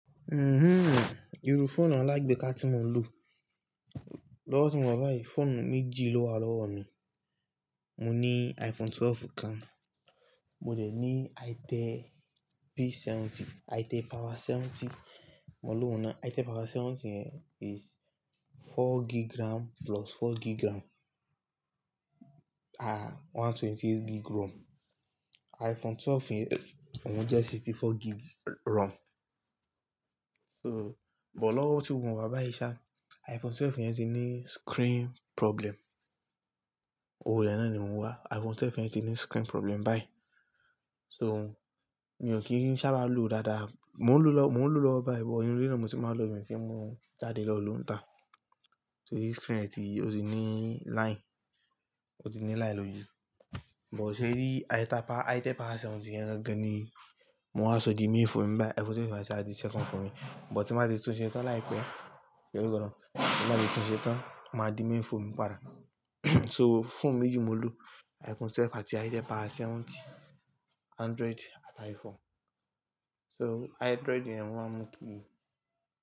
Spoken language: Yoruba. Iru foonu alagbeka ti mo n lo. Lowo ti mo wa ba foonu meji lowa lowo mi. Mo ni iPhone 12 kan, mo de ni Itel P70, Itel power 70. Mo ni owun naa Itel power 70 yen is four gig RAM plus four gig RAM, ọgọ́rùn-ún ó lé ẹ̀jìdínlọ́gbọ̀n gig ROM. iPhone 12 yen ohun je ọgọ́ta ó lé mẹ́rin gig ROM. So, but lowo ti mo wa bayi sa, iPhone 12 yen ti ni screen problem. Owo re naa ni mo n wa. iPhone 12 yen ti ni screen problem bayi. So, mi o ki n sa ba lo daadaa. Mo n lo mo n lo lowo bayi but inu ile na mo ti ma n lo mi kin mu jade lo lo n ta. So, screen e ti o ti ni line, o ti ni line lori. Bo se e ri Itel power Itel power 70 yen gan gan ni mo wa so di main foonu mi bayi. iPhone 12 ti wa di second foonu mi. Bo ti mba ti tun se tan laipe, e ro gan. Ti mba te tun se tan, o ma di main foonu mi pada. So, foonu meji mo n lo. iPhone 12 ati Itel power 70. Android ati iPhone. So, Android yen ni ma n mu kiri.